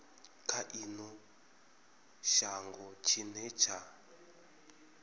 kha ino shango tshine tsha